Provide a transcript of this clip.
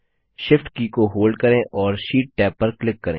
Shift की को hold करें और शीट टैब पर क्लिक करें